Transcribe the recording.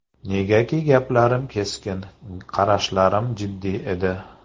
Negaki gaplarim keskin, qarashlarim jiddiy edi.